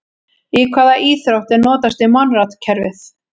Í hvaða íþrótt er notast við Monrad-kerfið?